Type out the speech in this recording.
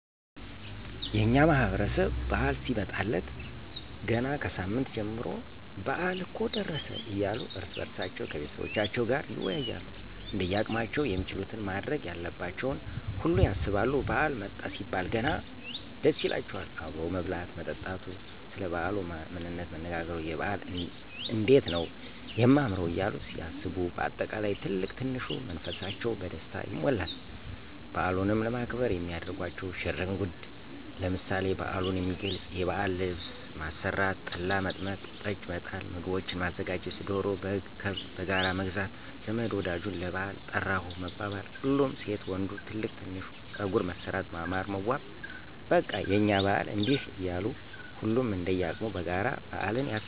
የእኛ ማህበረሰብ በዓል ሲመጣለት ገና ከሳምንት በፊት ጀምሮ በአል እኮ ደረሰ እያሉ እርስ በእርሳቸዉ ከቤተሰቦቻቸዉም ጋር ይወያያሉ እንደያቅማቸዉም የሚችሉትን ማድረግ ያለባቸውን ሁሉ ያሰባሉ ባዓል መጣ ሲባል ገና ደስ ይላቸዋል አብሮ መብላት መጠጣቱ፣ ሰለ ባዓሉ ምንነት መነጋገሩ፣ የበዓል እንዴት ነዉ የማምረዉ እያሉ ሲያስቡ በአጠቃላይ ትልቅ ትንሹ መንፈሳቸዉ በደስታ ይሞላል። በዓሉንም ለማክበር የሚያደርጓቸዉ ሽር እንጉድ ለምሳሌ፦ በዓሉን የሚገልፅ የባዕል ልብስ ማሰራት፣ ጠላ፣ መጥመቅ፣ ጠጅ፣ መጣል፣ ምግቦችን ማዘጋጀት፣ ዶሮ፣ በግ፣ ከብት በጋራ መግዛት ዘመድ ወዳጁን ለባዕል ጠራሁህ መባባል፣ ሁሉም ሴት ወንዱ ትልቅ ትንሹ ፀጉር መሠራት ማማር መዋብ በቃ የእኛ በዓል እንዲህ እያሉ ሁሉም እንደየቅሙ በጋራ በአልን ያከብራል።